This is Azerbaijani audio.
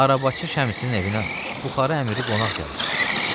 Arabaçı Şəmsin evinə Buxarı əmiri qonaq gəlir.